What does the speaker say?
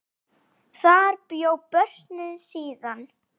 Þar bjó Björn síðan.